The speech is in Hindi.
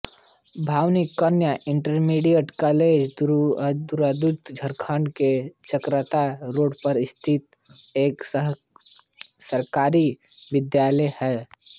भवानी कन्या इंटरमीडिएट कॉलेज देहरादून उत्तराखंड के चकराता रोड पर स्थित एक सरकारी विद्यालय है